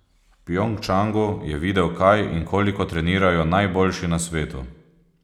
V Pjongčangu je videl, kaj in koliko trenirajo najboljši na svetu.